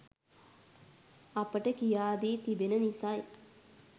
අපට කියා දී තිබෙන නිසයි